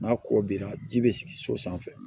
N'a kɔ bira ji bɛ sigi so sanfɛ